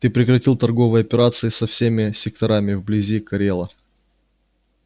ты прекратил торговые операции со всеми секторами вблизи корела